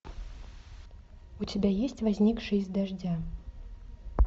у тебя есть возникший из дождя